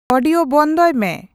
audio ᱵᱚᱱᱫᱚᱭ ᱢᱮ